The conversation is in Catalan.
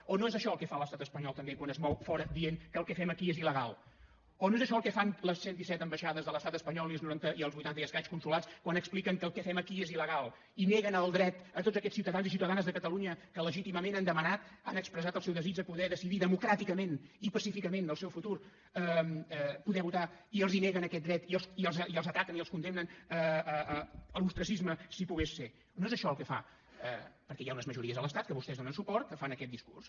o no és això el que fa l’estat espanyol també quan es mou fora dient que el que fem aquí és il·legal o no és això el que fan les cent disset ambaixades de l’estat espanyol i els vuitanta i escaig consolats quan expliquen que el que fem aquí és il·legal i neguen el dret a tots aquests ciutadans i ciutadanes de catalunya que legítimament han demanat han expressat el seu desig de poder decidir democràticament i pacíficament el seu futur poder votar i els neguen aquest dret i els ataquen i els condemnen a l’ostracisme si pogués ser no és això el que fa perquè hi ha unes majories a l’estat que vostès hi donen suport que fan aquest discurs